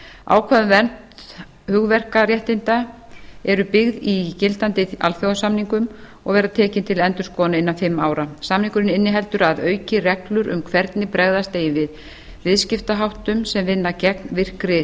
ákvæði um vernd hugverkaréttinda eru byggð í gildandi alþjóðasamningum og verða tekin til endurskoðunar innan fimm ára samningurinn inniheldur að auki reglur um hvernig bregðast eigi við viðskiptaháttum sem vinna gegn virkri